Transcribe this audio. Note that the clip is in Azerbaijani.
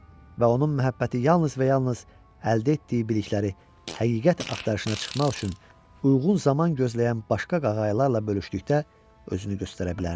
Və onun məhəbbəti yalnız və yalnız əldə etdiyi bilikləri həqiqət axtarışına çıxmaq üçün uyğun zaman gözləyən başqa qaqaylarla bölüşdükdə özünü göstərə bilərdi.